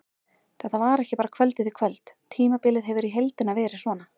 Þetta var ekki bara kvöldið í kvöld, tímabilið hefur í heildina verið svona.